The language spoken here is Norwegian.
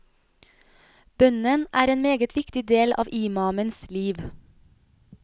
Bønnen er en meget viktig del av imamens liv.